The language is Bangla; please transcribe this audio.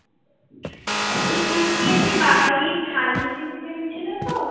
হম খেয়েছি বাঙালি থালি সিস্টেম ছিলো তো,